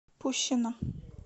пущино